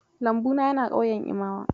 Lambu na yana ƙauyen Imawa.